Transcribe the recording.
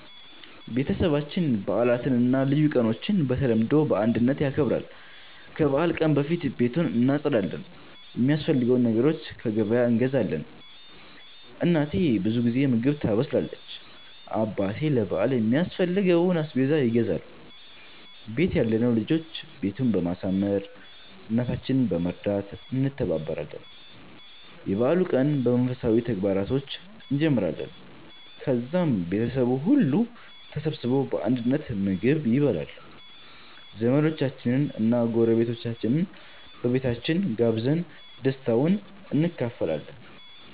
ቤተሰባችን በዓላትን እና ልዩ ቀኖችን በተለምዶ በአንድነት ያከብራል። ከበዓል ቀን በፊት ቤቱን እናጸዳለን፣ የሚያስፈልጉ ነገሮችን ከገበያ እንገዛለን። እናቴ ብዙ ጊዜ ምግብ ታበስላለች፣ አባቴ ለ በአል የሚያስፈልገውን አስቤዛ ይገዛል፣ ቤት ያለነው ልጆች ቤቱን በማሳመር፣ እናታችንን በመርዳት እንተባበራለን። የበዓሉን ቀን በመንፈሳዊ ተግባራቶች እንጀምራለን፣ ከዛም ቤተሰቡ ሁሉ ተሰብስቦ በአንድነት ምግብ ይበላል። ዘመዶቻችንን እና ጎረቤቶቻችንን በቤታችን ጋብዘን ደስታውን እንካፈላለን።